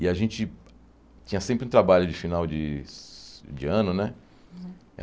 E a gente tinha sempre um trabalho de final de se de ano, né?